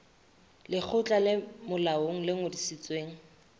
lekgotla le molaong le ngodisitsweng